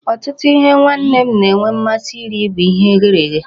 Ọtụtụ ihe nwanne m na-enwe mmasị iri bụ ihe eghere eghe.